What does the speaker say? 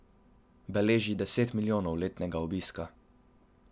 Beleži deset milijonov letnega obiska.